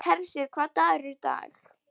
Hersir, hvaða dagur er í dag?